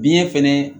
Biɲɛ fɛnɛ